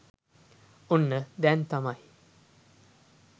ඔන්න දැන් තමයි